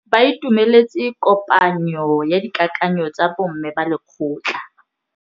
Ba itumeletse kôpanyo ya dikakanyô tsa bo mme ba lekgotla.